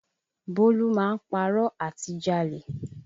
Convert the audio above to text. Bólú máa ń párọ̀ àti jalè